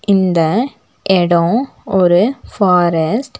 இந்த இடம் ஒரு ஃபாரஸ்ட் .